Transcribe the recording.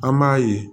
An b'a ye